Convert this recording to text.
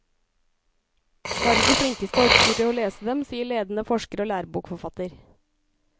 Bare de flinkeste orker å lese dem, sier ledende forsker og lærebokforfatter.